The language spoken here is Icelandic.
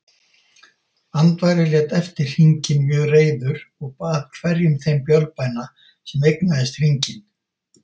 Andvari lét eftir hringinn mjög reiður og bað hverjum þeim bölbæna sem eignaðist hringinn.